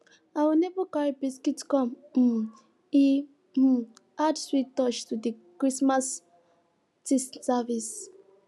our neighbor carry biscuit come um e um add sweet touch to the christmas tea service